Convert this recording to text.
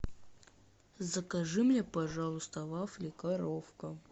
закажи мне пожалуйста вафли коровка